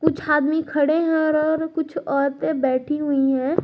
जहां आदमी खड़े हैं और और कुछ औरते बैठी हुई हैं।